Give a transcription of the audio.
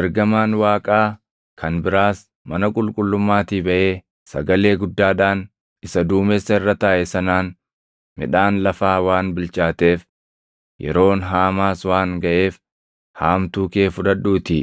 Ergamaan Waaqaa kan biraas mana qulqullummaatii baʼee sagalee guddaadhaan isa duumessa irra taaʼe sanaan, “Midhaan lafaa waan bilchaateef, yeroon haamaas waan gaʼeef haamtuu kee fudhadhuutii